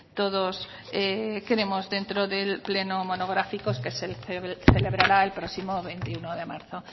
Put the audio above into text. todos tenemos dentro del pleno monográfico que se celebrará el próximo veintiuno de marzo